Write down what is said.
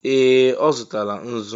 Ee! Ọ zụtala nzu.